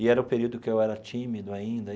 E era o período que eu era tímido ainda.